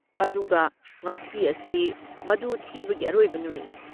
ꯑꯗꯨꯒ ꯉꯁꯤ ꯑꯁꯤ ꯃꯗꯨ ꯊꯤꯕꯒꯤ ꯑꯔꯣꯏꯕ ꯅꯨꯃꯤꯠꯅꯤ꯫